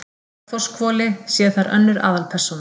Bergþórshvoli sé þar önnur aðalpersóna.